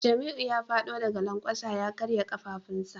Jamiu ya fado daga lankwasa ya karya kafafunsa